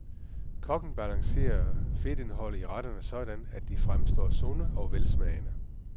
Kokken balancerer fedtindholdet i retterne sådan, at de fremstår sunde og velsmagende.